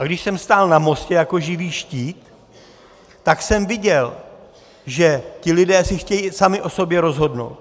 A když jsem stál na mostě jako živý štít, tak jsem viděl, že ti lidé si chtějí sami o sobě rozhodnout.